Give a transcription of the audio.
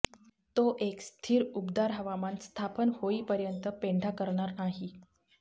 तो एक स्थिर उबदार हवामान स्थापन होईपर्यंत पेंढा करणार नाही